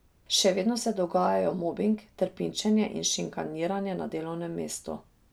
Še vedno se dogajajo mobing, trpinčenje in šikaniranje na delovnem mestu.